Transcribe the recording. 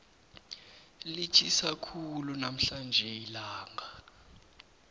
litjhisa khulu namhlanje ilanga